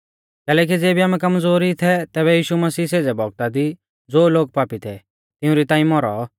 कैलैकि ज़ेबी आमै कमज़ोर ई थै तैबै यीशु मसीह सेज़ै बौगता दी ज़ो लोग पापी थै तिउंरी ताईं मौरौ